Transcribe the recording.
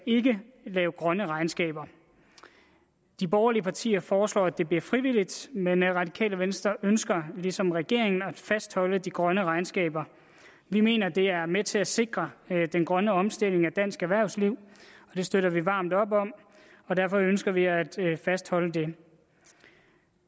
lave grønne regnskaber de borgerlige partier foreslår at det bliver frivilligt men radikale venstre ønsker ligesom regeringen at fastholde de grønne regnskaber vi mener det er med til at sikre den grønne omstilling af dansk erhvervsliv og det støtter vi varmt op om og derfor ønsker vi at fastholde det